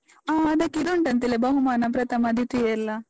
ಹಾ, ಅದಕ್ಕಿದುಂಟಂತೆಲ್ಲ ಬಹುಮಾನ ಪ್ರಥಮ, ದ್ವಿತೀಯ ಎಲ್ಲ?